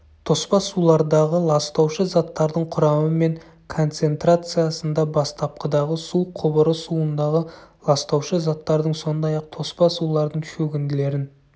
тоспа сулардағы ластаушы заттардың құрамы мен концентрациясында бастапқыдағы су құбыры суындағы ластаушы заттардың сондай-ақ тоспа сулардың шөгінділерін